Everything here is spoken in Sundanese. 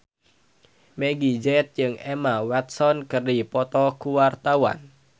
Meggie Z jeung Emma Watson keur dipoto ku wartawan